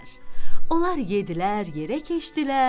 Onlar yeddilər, yerə keçdilər,